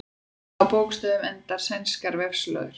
Á hvaða bókstöfum enda sænskar vefslóðir?